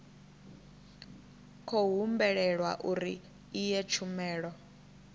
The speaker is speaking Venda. khou humbulelwa uri iyi tshumelo